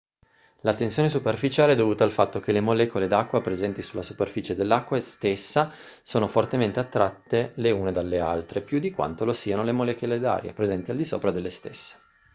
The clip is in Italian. la tensione superficiale è dovuta al fatto che le molecole d'acqua presenti sulla superficie dell'acqua stessa sono fortemente attratte le una dalle altre più di quanto lo siano le molecole d'aria presenti al di sopra delle stesse